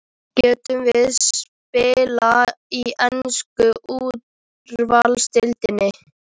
Gætum við spila í ensku úrvalsdeildinni?